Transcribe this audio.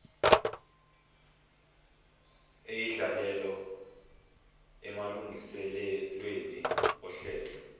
eyidlalayo emalungiselelweni ohlelo